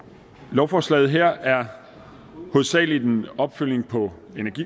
lovforslaget her er hovedsagelig en opfølgning på